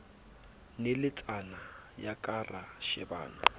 naletsana ya ka ra shebana